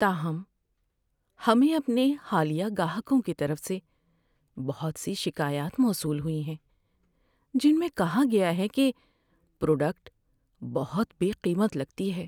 تاہم، ہمیں اپنے حالیہ گاہکوں کی طرف سے بہت سی شکایات موصول ہوئی ہیں جن میں کہا گیا ہے کہ پروڈکٹ بہت بے قیمت لگتی ہے۔